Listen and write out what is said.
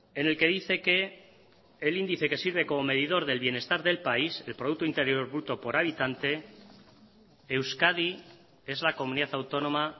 en el que dice que el índice que sirve como medidor del bienestar del país el producto interior bruto por habitante euskadi es la comunidad autónoma